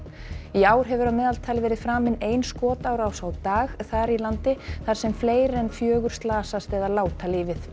í ár hefur að meðaltali verið framin ein skotárás á dag þar í landi þar sem fleiri en fjögur slasast eða láta lífið